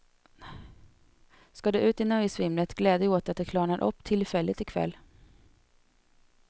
Ska du ut i nöjesvimlet, gläd dig åt att det klarnar upp tillfälligt i kväll.